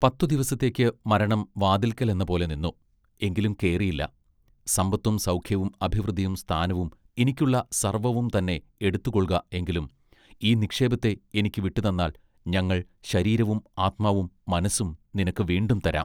പത്തു ദിവസത്തേക്ക് മരണം വാതില്ക്കലെന്നപോലെ നിന്നു. എങ്കിലും കേറിയില്ല; സമ്പത്തും സൗഖ്യവും അഭിവൃദ്ധിയും സ്ഥാനവും എനിക്കുള്ള സർവ്വവും തന്നെ എടുത്തുകൊൾക എങ്കിലും ഈ നിക്ഷേപത്തെ എനിക്ക് വിട്ടുതന്നാൽ ഞങ്ങൾ ശരീരവും ആത്മാവും മനസ്സും നിനക്ക് വീണ്ടും തരാം.